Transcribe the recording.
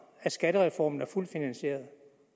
at skattereformen er fuldt finansieret